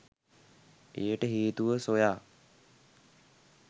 එයට හේතුව සොයා